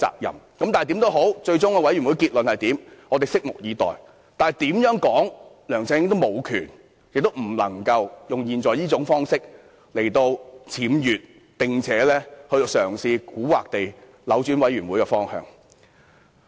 最終專責委員會的結論如何，我們拭目以待，但無論如何，梁振英也無權用這種方式來僭越，蠱惑地嘗試扭轉專責委員會的調查方向。